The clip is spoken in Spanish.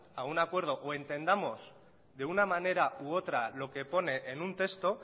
a un acuerdo o entendamos de una manera u otra lo que pone en un texto